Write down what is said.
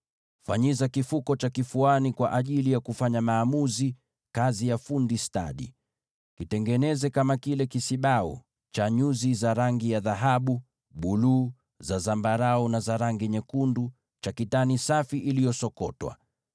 “Fanyiza kifuko cha kifuani kwa ajili ya kufanya maamuzi, kazi ya fundi stadi. Kitengeneze kama kile kisibau: cha dhahabu, na nyuzi za rangi ya buluu, za zambarau, na za rangi nyekundu, cha kitani safi iliyosokotwa.